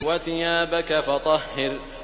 وَثِيَابَكَ فَطَهِّرْ